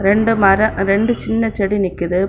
ரெண்டு மர ரெண்டு சின்ன செடி நிக்குது.